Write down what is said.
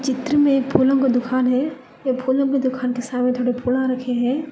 चित्र में फूलों की दुकान है ये फूलों की दुकान के सामने कुछ फूल आ रखे हैं।